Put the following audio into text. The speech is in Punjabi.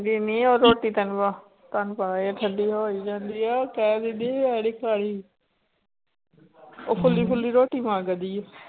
ਦਿਨੀ ਉਹ ਰੋਟੀ ਤੈਨੂੰ ਤੁਹਾਨੂੰ ਪਤਾ ਹੀ ਹੈ ਠੰਢੀ ਹੋ ਹੀ ਜਾਂਦੀ ਹੈ ਉਹ ਕਹਿ ਦਿੰਦੀ ਮੈਂ ਨੀ ਖਾਣੀ ਉਹ ਫੁੱਲੀ ਫੁੱਲੀ ਰੋਟੀ ਮੰਗਦੀ ਹੈ।